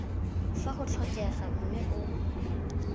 fa go tlhokega mme o